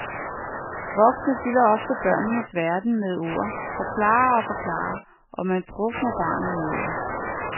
Voksne fylder ofte børnenes verden med ord, forklarer og forklarer, og kan drukne barnet i ord.